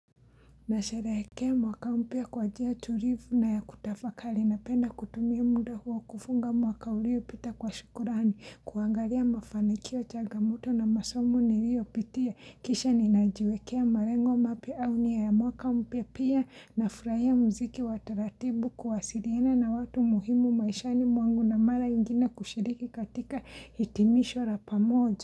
Nashereheke mwaka mpya kwa njia tulivu na ya kutafakari na penda kutumia muda huwa kufunga mwaka ulio pita kwa shukurani kuangalia mafanikio chagamoto na masomu nirio pitia kisha ninajiwekea malengo mapya au nia ya mwaka mpya pia na furaia muziki wa taratibu kuwasiriene na watu muhimu maishani mwangu na mara ingina kushiriki katika hitimisho lla pamoja.